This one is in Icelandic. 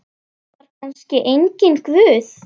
Var kannski enginn Guð?